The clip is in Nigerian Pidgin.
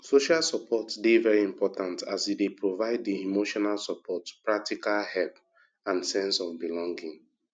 social support dey very important as e dey provide di emotional support practical help and sense of belonging